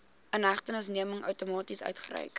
inhegtenisneming outomaties uitgereik